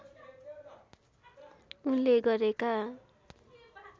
उनले गरेका